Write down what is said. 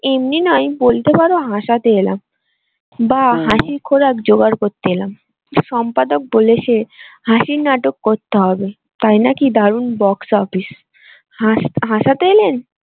এমনি নয় বলতে পারো হাসতে এলাম বা জোগাড় করতে এলাম সম্পাদক বলেছে হাসির নাটক করতে হবে তাই নাকি দারুন box office হাসতে এলেন?